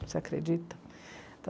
Você acredita?